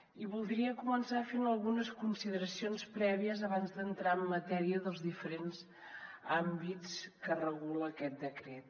i voldria començar fent algunes consideracions prèvies abans d’entrar en matèria dels diferents àmbits que regula aquest decret